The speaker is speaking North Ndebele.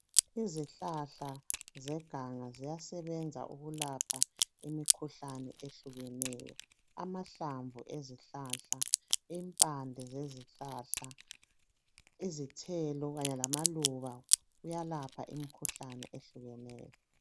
Izihlahla zeganga ziyasebenza ukulapha imikhuhlane eyehlukeneyo. Amahlamvu ezihlahla . Impande sezihlahla impande kanye lamaluba kuyalapha imikhuhlane ehlukeneyo.